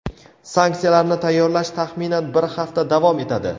sanksiyalarni tayyorlash taxminan bir hafta davom etadi.